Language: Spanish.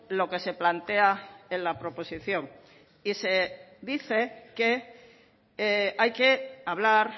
lo que se plantea en la proposición y se dice que hay que hablar